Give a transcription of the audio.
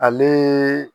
Ale